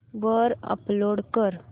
वर अपलोड कर